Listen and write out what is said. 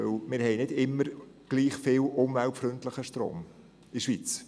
Wir haben nicht immer gleich viel umweltfreundlichen Strom in der Schweiz.